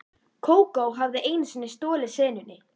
Kókó hafði einu sinni stolið senunni.